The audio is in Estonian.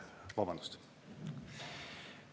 Vabandust!